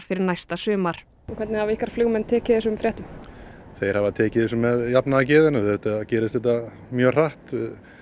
fyrir næsta sumar hvernig hafa ykkar flugmenn tekið þessum fréttum þeir hafa tekið þessu með jafnaðargeði auðvitað gerist þetta mjög hratt